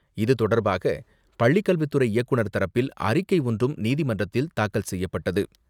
இது தொடர்பாக பள்ளிக் கல்வித்துறை இயக்குநர் தரப்பில் அறிக்கை ஒன்றும் நீதிமன்றத்தில் தாக்கல் செய்யப்பட்டது.